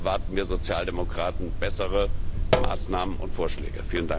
Hier erwarten wir Sozialdemokraten bessere Maßnahmen und Vorschläge.